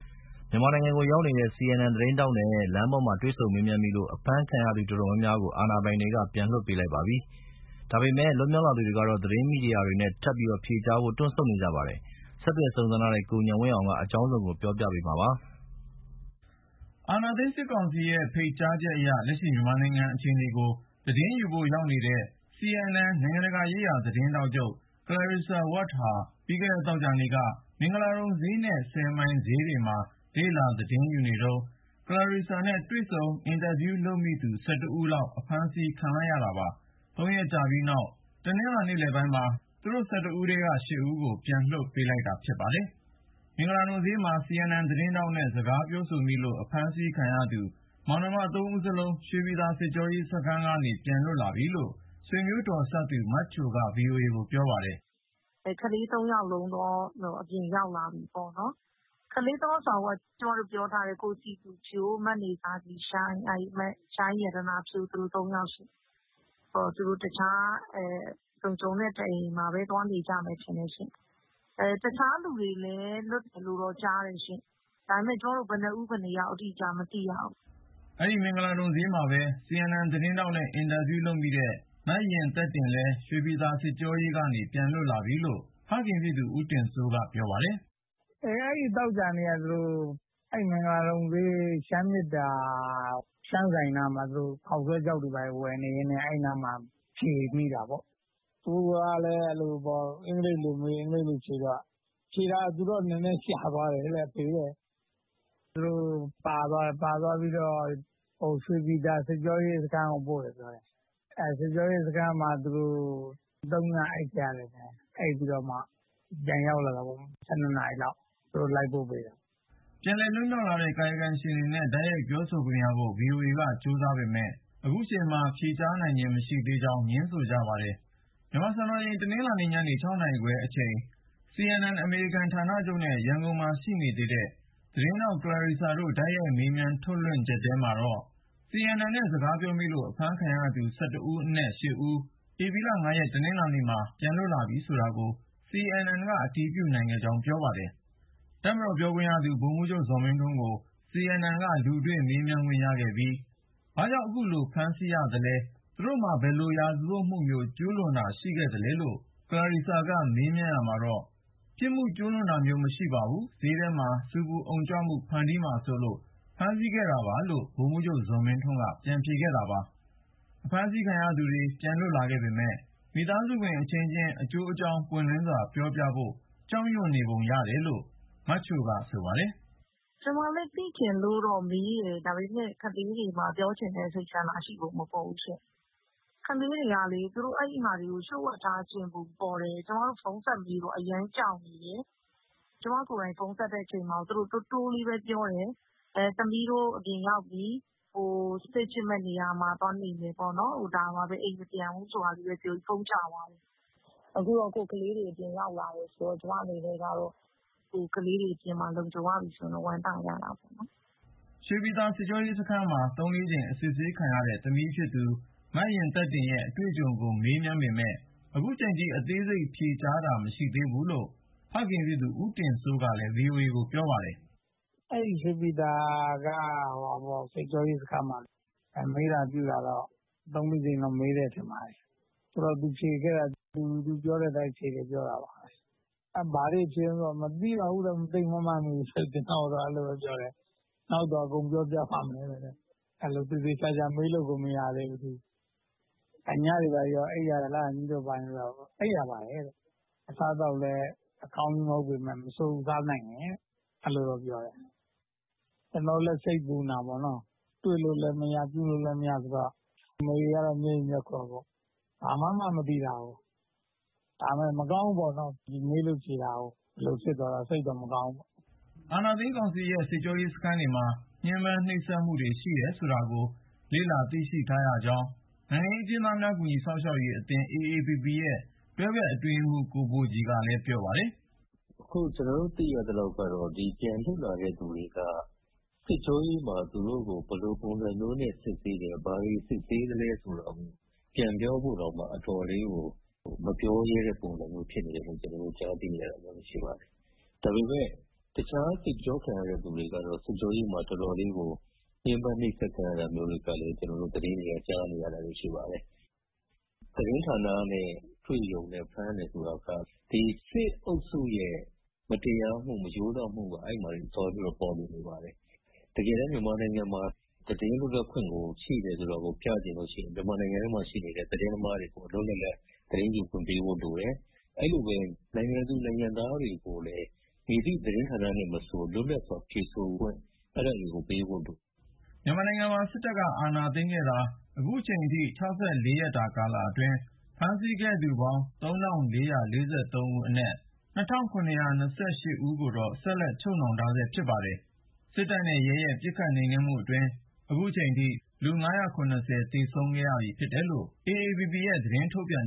မြန်မာနိုင်ငံကိုရောက်နေတဲ့ CNN သတင်းထောက်နဲ့ လမ်းပေါ်မှာ တွေ့ဆုံမေးမြန်းမိလို့ အဖမ်းခံခဲ့ရသူ အတော်များများကို အာဏာပိုင်တွေက ပြန်လွှတ်ပေးလိုက်ပါပြီ။ ဒါပေမဲ့ လွတ်မြောက်လာသူတွေကတော့ သတင်းမီဒီယာတွေနဲ့ နောက်ထပ်ဖြေကြားဖို့ တွန့်ဆုတ်နေကြပါတယ်။ ဆက်သွယ်စုံစမ်းထားတဲ့ ကိုဉာဏ်ဝင်းအောင်က အကြောင်းစုံကို ပြောပြမှာပါ။ အာဏာသိမ်းစစ်ကောင်စီရဲ့ ဖိတ်ကြားချက်အရ လက်ရှိ မြန်မာနိုင်ငံ အခြေအနေကို သတင်းယူဖို့ရောက်နေတဲ့ CNN နိုင်ငံတကာရေးရာ သတင်းထောက်ချုပ် Clarissa Ward ဟာ ပြီးခဲ့တဲ့သောကြာနေ့က မင်္ဂလာဒုံဈေးနဲ့ မိုင်ဈေးတွေမှာ လေ့လာ သတင်းယူနေတုန်း Clarissa နဲ့ တွေ့ဆုံ အင်တာဗျူးလုပ်မိသူ ဦးလောက် အဖမ်း ခံလိုက်ရတာပါ။ ၃ ရက်ကြာပြီးနောက် ဧပြီ ရက် တနင်္လာ နေ့လည်ပိုင်းမှာ သူတို့ ဦးထဲက ဦးကို ပြန်လွှတ်ပေးလိုက်တာ ဖြစ်ပါတယ်။ မင်္ဂလာဒုံဈေးမှာ CNN သတင်းထောက်နဲ့ စကားပြောဆိုမိလို့ အဖမ်းခံခဲ့ရသူ ( မနေဇာခြည်ရှိုင်း၊ ကိုစည်သူဖြိုး၊ မရှိုင်းရတနာဖြိုး) မောင်နှမ ဦးစလုံး ရွှေပြည်သာ စစ်ကြောရေးစခန်းကနေ ပြန်လွတ်လာပြီလို့ ဆွေမျိုးတော်စပ်သူ မချိုက VOA ကို ပြောပါတယ်။ “ကလေး ၃ ယောက်လုံးတော့ အပြင်ရောက်လာပြီပေ့ါနော် ၊ ကလေး ၃ ယောက်ဆိုတာ ကျမတို့ ပြောထားတဲ့ ကိုစည်သူဖြိုး၊ မနေဇာခြည်ရှိုင်း၊ မရှိုင်းရတနာဖြိုး သူတို့ ၃ ယောက်ရှင့် ။ သူတို့ တခြား လုံခြုံတဲ့ တအိမ်အိမ်မှာပဲ သွားနေကြမယ်ထင်တယ်ရှင့်။ တခြားလူတွေလည်း လွတ်တယ်လို့တော့ ကြားတယ်ရှင့်။ ဒါပေမယ့် ကျမတို့ ဘယ် နှစ်ဦး ၊ ဘယ်နှစ်ယောက် အတိအကျ မသိရဘူး။” အဲဒီ မင်္ဂလာဒုံဈေးမှာပဲ CNN သတင်းထောက်နဲ့ အင်တာဗျူးမိတဲ့ မယဉ်သက်တင်လည်း ရွှေပြည်သာ စစ်ကြောရေးကနေ ပြန်လွတ်လာပြီလို့ ဖခင်ဖြစ်သူ ဦးတင်စိုးက ပြောပါတယ်။ “အဲဒီ သောကြာနေ့က သူတို့ အဲဒီ မင်္ဂလာဒုံဈေး ရှမ်းမေတ္တာ ရှမ်းဆိုင်နားမှာ သူတို့ ခေါက်ဆွဲခြောက်တွေ ဝယ်နေရင်းနဲ့ အဲဒီနားမှာ ဖြေမိတာပေါ့။ သူကလည်း အင်္ဂလိပ်လိုမေး၊ အင်္ဂလိပ်လိုဖြေတော့ ၊ ဖြေတာက နည်းနည်းကြာသွားတယ် အဖေတဲ့။ အဲဒါ သူတို့ ပါသွားတယ်။ ပါသွားတော့ ရွှေပြည်သာ စစ်ကြောရေးစခန်းကို ပို့တယ်ပြောတယ်။ စစ်ကြောရေးမှာ သူတို့ ၃ ည အိပ်ခဲ့ရတယ် ။ အိပ်ပြီးတော့မှ ပြန်ရောက်လာတာပေါ့ နေ့လည် ၁၂ နာရီလောက် သူတို့ လိုက်ပို့ပေးတယ်။” ပြန်လည်လွတ်မြောက်လာတဲ့ ကာယကံရှင်တွေနဲ့ တိုက်ရိုက်ပြောဆိုခွင့်ရဖို့ VOA က ကြိုးစားပေမယ့် ခုချိန်မှာ မပြောဆိုလိုသေးကြောင်း ငြင်းဆိုကြပါတယ်။ မြန်မာစံတော်ချိန် တနင်္လာနေ့ ညနေ ၆ နာရီခွဲအချိန် CNN အမေရိကန် ဌာနချုပ်နဲ့ ရန်ကုန်မှာရှိနေသေးတဲ့ သတင်းထောက် Clarissa Ward တို့ တိုက်ရိုက် မေးမြန်းထုတ်လွှင့်ချက်ထဲမှာတော့ CNN နဲ့ စကားပြောမိလို့ အဖမ်းခံရသူ ဦးအနက် ဦး ဧပြီ ရက် တနင်္လာနေ့မှာ ပြန်လွတ်လာပြီဆိုတာကို CNN က အတည်ပြုနိုင်ခဲ့ကြောင်း ပြောပါတယ်။ တပ်မတော်ပြောခွင့်ရ ဗိုလ်မှူးချုပ် ဇော်မင်းထွန်းကို CNN က လူတွေ့ မေးမြန်းခွင့်ရခဲ့ပြီး ဘာကြောင့် အခုလို ဖမ်းဆီးရတာလဲ၊ သူတို့မှာ ဘယ်လိုရာဇဝတ်မှုမျိုး ကျူးလွန်ထားတာ ရှိသလဲလို့ Clarissa က မေးမြန်းရာမှာတော့ ပြစ်မှုကျူးလွန်ထားတာ မရှိဘူး... ဈေးထဲမှာ ဆူပူအုံကြွမှု ဖန်တီးမှာစိုးလို့ ဖမ်းခဲ့ရတာပါလို့ ဗိုလ်မှူးချုပ် ဇော်မင်းထွန်းက ပြန်ဖြေခဲ့တာပါ။ အဖမ်းဆီးခံရသူတွေ ပြန်လွတ်လာခဲ့ပေမယ့် မိသားစုဝင်အချင်းချင်း အကျိုးအကြောင်း ပွင့်လင်းစွာ ပြောပြဖို့ ကြောက်ရွံ့နေပုံ ရတယ်လို့ မချိုက ဆိုပါတယ်။ “ကျမလည်း သိချင်လို့တော့မေးတယ် ဒါပေမယ့် ကလေးတွေမှာ ပြောချင်တဲ့ စိတ်ဆန္ဒ ရှိပုံမပေါ်ဘူးဖြစ်နေတယ်။ ကလေးတွေကလေ အဲဒါတွေကို သူတို့ လျှိူ့ဝှက်ထားချင်ပုံပေါ်တယ်။ ကျမတို့ ဖုန်းဆက်မေးတော့ အရမ်းကြောက်နေတယ်။ ကျမကိုယ်တိုင် ဖုန်းဆက်တဲ့အချိန်မှာ တိုးတိုးလေးပဲ ပြောတယ်။ သမီးတို့ အပြင်ရောက်ပြီ Safe ဖြစ်မယ့်နေရာမှာ သွားနေမယ်ပေါ့နော်၊ အိမ်မပြန်ဘူးဆိုပြီး ဖုန်းချသွားတယ်။ အခုတော့ ကိုယ့်ကလေးတွေ အပြင်ရောက်လာတယ်ဆိုတော့ ကျမအနေနဲ့ ကလေးတွေ အပြင်မှာ လုံခြုံရပြီဆိုတော့ ဝမ်းသာကြတာပေါ့နော်။” ရွှေပြည်သာ စစ်ကြောရေး စခန်းမှာ ၃-၄ ကြိမ် အစစ်ခံရတဲ့ သမီးဖြစ်သူ မယဉ်သက်တင်ရဲ့ အတွေ့အကြုံကို မေးပေမယ့် ခုထိအသေးစိတ် ဖြေကြားတာ မရှိသေးဘူးလို့ ဖခင်ဖြစ်သူ ဦးတင်စိုးက VOA ကို ပြောပါတယ်။ “ရွှေပြည်သာက စစ်ကြောရေး စခန်းမှာ မေးတာပြုတာကတော့ ၃-၄ ကြိမ်လောက် မေးတယ်ထင်ပါတယ်။ သူဖြေခဲ့တာကတော့ သူပြောတဲ့အတိုင်း ဖြေခဲ့တယ်လို့ ပြောတာပါပဲ။ ဘာတွေဖြေသလဲဆိုတော့ မသိပါဘူးတဲ့ ၊ သိပ်မမှတ်မိဘူးတဲ့ ကျနော့်ကိုတော့ အဲလိုပြောတယ်။ နောက်တော့ အကုန်ပြောပြပါမယ်တဲ့ ။ အဲလို သေသေချာချာမေးလို့ကို မရသေးဘူး ။ ညတွေ ဘာတွေရော အိပ်ရသလားလို့ မေးတော့ အိပ်ရပါတယ်တဲ့။ အစားအသောက်လည်း အကောင်းကြီးမဟုတ်ပေမယ့် မဆိုးဘူး စားနိုင်တယ်တဲ့ အဲလိုပြောတယ်။ ကျနော်တို့လည်း စိတ်ပူနေတာပေါ့နော်၊ တွေ့လို့လည်းမရ ပြုလို့လည်းမရဆိုတော့၊ သူ့အမေကတော့ မျက်ရည်မျက်ခွက်ပေါ့။ ဘာမှန်းမှ မသိတာကို ဒါပေမယ့် မကောင်းဘူးပေါ့နော် ၊ ဒီလိုမျိုး မေးလို့ဖြေတာကို ဒီလိုဖြစ်သွားတာ စိတ်တော့ မကောင်းဘူးပေါ့။” အာဏာသိမ်းကောင်စီရဲ့ စစ်ကြောရေးစခန်းတွေမှာ ညှဉ်းပမ်းနှိပ်စက်မှုတွေ ရှိတယ်ဆိုတာကို လေ့လာသိရှိရကြောင်း နိုင်ငံရေးအကျဉ်းသားများ ကူညီစောင့်ရှောက်ရေးအသင်း AAPP ရဲ့တွဲဖက် အတွင်းရေးမှူး ဦးဘိုကြည်က ပြောပါတယ်။ “အခု ကျနော်တို့ သိရသလောက်ကတော့ ဒီပြန်လွတ်လာတဲ့ သူတွေက စစ်ကြောရေးမှာ သူတို့ကို ဘယ်လိုပုံစံမျိုးနဲ့ စစ်ဆေးတယ် ဘာတွေ စစ်ဆေးသလဲဆိုတာကို ပြန်ပြောဖို့တောင်မှ အတော်လေးကို မပြောရဲတဲ့ပုံစံ မျိုးဖြစ်နေတယ်လို့ ကျနေ်ာတို့ ကြားသိရပါတယ်။ ဒါပေမယ့် တခြားစစ်ကြောခံရတဲ့ သူတွေကတော့ စစ်ကြောရေးမှာ တော်တော်လေးကို ညှဉ်းပမ်းနှိပ်စက် ခံရတာမျိုး တော်တော်လေး သတင်းတွေအရ ကြားနေရတာတွေရှိပါတယ်။ သတင်းဌာနနဲ့ တွေ့ရုံနဲ့ ဖမ်းတယ်ဆိုတာက ဒီစစ်အုပ်စုရဲ့ မတရားမှု၊ မရိုးသားမှုက အဲဒီမှာတင် သွားပြီးတော့ ပေါ်လွင်နေပါတယ်။ တကယ်တမ်း မြန်မာနိုင်ငံမှာ သတင်လွတ်လပ်ခွင့် ရှိတယ်ဆိုတာကို ပြချင်ရင် မြန်မာနိုင်ငံထဲမှာရှိနေတဲ့ သတင်းသမားတွေကို လွတ်လွတ်လပ်လပ် သတင်းယူခွင့်ပေးဖို့လိုတယ်၊ အဲဒီလို နိုင်ငံသူ နိုင်ငံသားတွေကိုလည်း မည်သည့် သတင်းဌာနနဲ့မဆို လွတ်လပ်စွာ ဖြေဆိုခွင့် အဲဒါတွေကို ပေးဖို့ လိုတယ်။” မြန်မာနိုင်ငံမှာ စစ်တပ်က အာဏာသိမ်းခဲ့ပြီးနောက် အခုချိန်ထိ ရက်တာ ကာလအတွင်း ဖမ်းဆီးခဲ့သူပေါင်း ဦးရှိပြီး ၊ အဲဒီထဲက ဦးကတော့ ချုပ်နှောင်ခံနေရဆဲဖြစ်ပါတယ်။ စစ်တပ်နဲ့ရဲရဲ့ ပစ်ခတ်နှိမ်နင်းမှုကြောင့် လူ သေဆုံးခဲ့ပြီဖြစ်တယ်လို့ AAPP က သတင်းထုတ်ပြန်